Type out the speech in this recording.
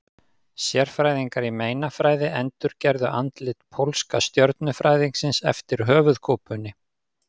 Sérfræðingar í meinafræði endurgerðu andlit pólska stjörnufræðingsins eftir höfuðkúpunni.